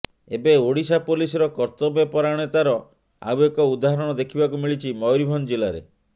ଏବେ ଓଡ଼ିଶା ପୋଲିସର କର୍ତ୍ତବ୍ୟ ପରାୟଣତାର ଆଉ ଏକ ଉଦାହରଣ ଦେଖିବାକୁ ମିଳିଛି ମୟୂରଭଞ୍ଜ ଜିଲ୍ଲାରେ